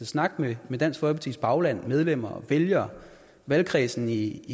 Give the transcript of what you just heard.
snakke med dansk folkepartis bagland medlemmer vælgere og valgkredsen i